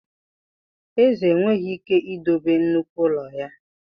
Eze enweghị ike idobe nnukwu ụlọ ya.